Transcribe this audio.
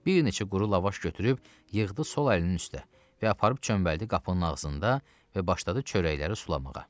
Bir neçə quru lavaş götürüb yığdı sol əlinin üstünə və aparıb çöməldi qapının ağzında və başladı çörəkləri sulamağa.